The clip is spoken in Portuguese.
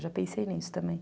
Eu já pensei nisso também.